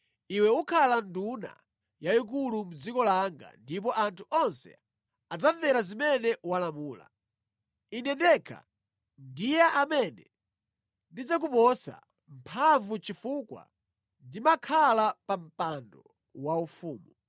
Iwe ukhala nduna yayikulu mu dziko langa ndipo anthu onse adzamvera zimene walamula. Ine ndekha ndiye amene ndidzakuposa mphamvu chifukwa ndimakhala pa mpando waufumu.”